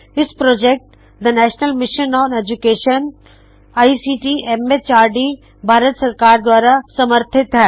ਇਹ project the national mission on education ICT MHRD Bharat ਸਰਕਾਰ ਦਵਾਰਾ ਸਮਰਥਿਤ ਹੈ